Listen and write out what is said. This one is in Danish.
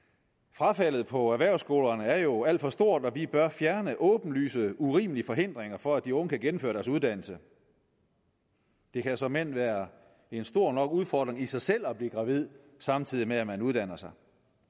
frafaldet på erhvervsskolerne er jo alt for stort og vi bør fjerne åbenlyse og urimelige forhindringer for at de unge kan gennemføre deres uddannelse det kan såmænd være en stor nok udfordring i sig selv i at blive gravid samtidig med at man uddanner sig